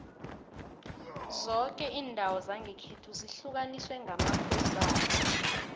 zoke indawo zangekhethu zihlukaniswe ngamakhosana